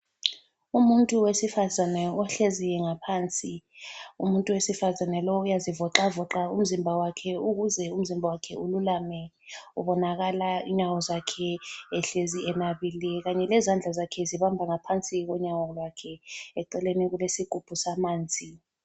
Umuntu wesifazane ohlezi ngaphansi umuntu wesifazane lowu uyazivoxavoxa umzimba wakhe ,ukuze umzimba wakhe ululame, ubonakala inyawo zakhe ehlezi enabile, kanye lezandla zakhe zibamba ngaphansi konyawo lwakhe , eceleni kulesigubhu samanzi.